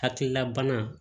Hakilila bana